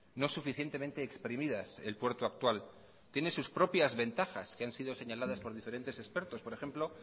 no suficientemente exprimidas el puerto actual tiene sus propias ventajas que han sido señaladas por diferentes expertos por ejemplo